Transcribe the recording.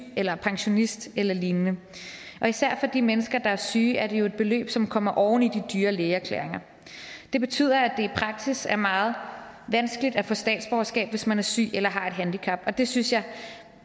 eller er pensionist eller lignende og især for de mennesker der er syge er det jo et beløb som kommer oven i de dyre lægeerklæringer det betyder at det i praksis er meget vanskeligt at få statsborgerskab hvis man er syg eller har et handicap og det synes jeg